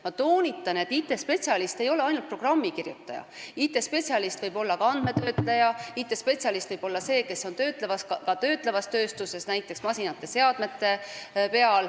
Ma toonitan, et IT-spetsialist ei ole ainult programmikirjutaja, IT-spetsialist võib olla ka andmetöötleja, IT-spetsialist võib olla see, kes töötab töötlevas tööstuses näiteks masinate ja seadmetega.